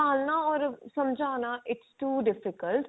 ਸਭਾਲਣਾ or ਸਮਝਾਨਾ its too difficult